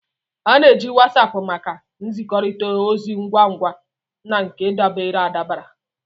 A na-eji Wasapu maka nzikọrịta ozi ngwa ngwa na nke dabara adaba.